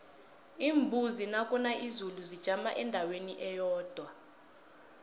iimbuzi nakuna izulu zijama endaweni eyodwa